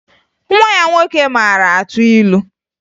Nwa ya nwoke mara atụ ilu